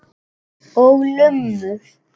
Og lummur.